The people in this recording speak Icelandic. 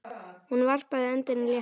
Hún varpaði öndinni léttar.